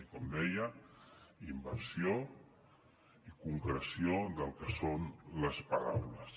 i com deia inversió i concreció del que són les paraules